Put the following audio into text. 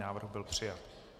Návrh byl přijat.